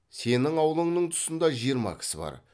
сенің аулыңның тұсында жиырма кісі бар